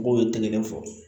N b'o tɛgɛ kelen fɔ